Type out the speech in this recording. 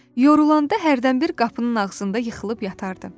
Yorulanda hərdənbir qapının ağzında yıxılıb yatardı.